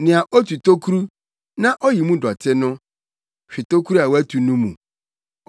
Nea otu tokuru, na oyi mu dɔte no hwe tokuru a watu no mu.